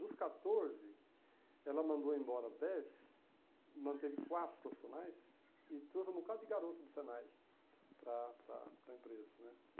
Dos catorze, ela mandou embora dez, manteve quatro profissionais e trouxe um bocado de garoto do Senai para a para a empresa, né?